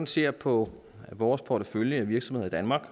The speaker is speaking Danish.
ser på vores portefølje af virksomheder i danmark